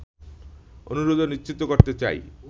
অনুরোধ ও নিশ্চিত করতে চাই